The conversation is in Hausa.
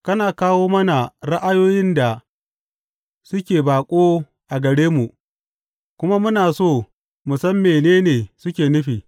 Kana kawo mana ra’ayoyin da suke baƙo a gare mu, kuma muna so mu san mene ne suke nufi.